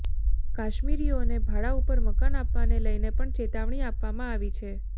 કાશ્મીરીઓને ભાડા ઉપર મકાન આપવાને લઈને પણ ચેતવણી આપવામાં આવી છે